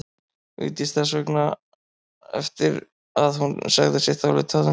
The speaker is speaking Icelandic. Vigdís þess vegna eftir því að hún segði sitt álit á þeim.